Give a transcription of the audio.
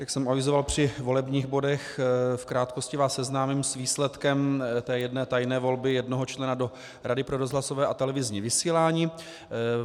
Jak jsem avizoval při volebních bodech, v krátkosti vás seznámím s výsledkem té jedné tajné volby jednoho člena do Rady pro rozhlasové a televizní vysílání.